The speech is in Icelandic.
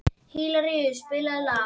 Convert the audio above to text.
Hilaríus, spilaðu lag.